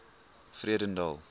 vredendal